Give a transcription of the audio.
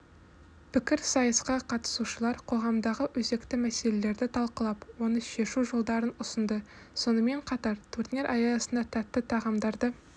пікірсайысқа қатысушылар қоғамдағы өзекті мәселелерді талқылап оны шешу жолдарын ұсынды сонымен қатар турнир аясында тәтті тағамдарды